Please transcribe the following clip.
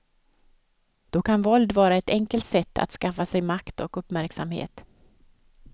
Då kan våld vara ett enkelt sätt att skaffa sig makt och uppmärksamhet.